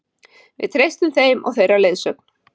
Við treystum þeim og þeirra leiðsögn